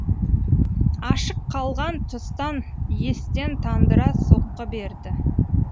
ашық қалған тұстан естен тандыра соққы берді